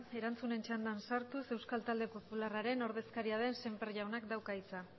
erantzunen txanda sartuz euskal talde popularraren ordezkaria den semper jaunak dauka hitza